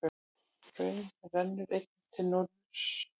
Hraun rennur einnig til norðurs.